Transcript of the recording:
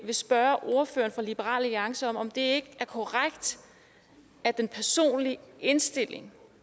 vil spørge ordføreren for liberal alliance om om det er korrekt at den personlige indstilling